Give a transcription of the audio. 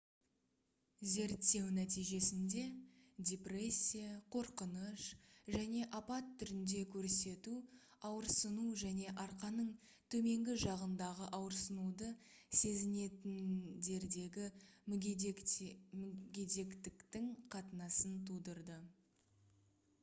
зерттеу нәтижесінде депрессия қорқыныш және апат түрінде көрсету ауырсыну және арқаның төменгі жағындағы ауырсынуды сезінетіндердегі мүгедектіктің қатынасын тудырды